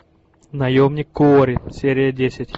наемник куорри серия десять